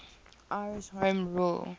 irish home rule